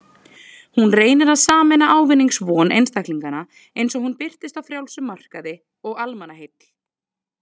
Hún reynir að sameina ávinningsvon einstaklinganna, eins og hún birtist á frjálsum markaði, og almannaheill.